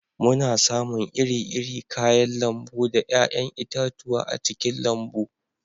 Muna samun iri-iri kayan lambu da 'ya'yan itatuwa a cikin lambu